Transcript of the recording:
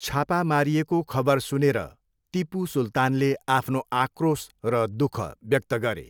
छापा मारिएको खबर सुनेर टिपू सुल्तानले आफ्नो आक्रोश र दुःख व्यक्त गरे।